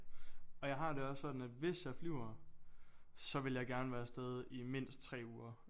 Og jeg har det også sådan at hvis jeg flyver så vil jeg gerne være afsted i mindst 3 uger